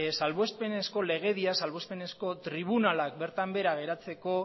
salbuespenezko legedian salbuespenezko tribunalak bertan behera geratzeko